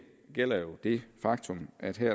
gælder det faktum at der